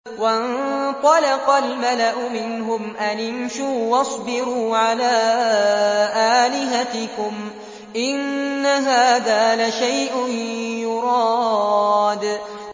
وَانطَلَقَ الْمَلَأُ مِنْهُمْ أَنِ امْشُوا وَاصْبِرُوا عَلَىٰ آلِهَتِكُمْ ۖ إِنَّ هَٰذَا لَشَيْءٌ يُرَادُ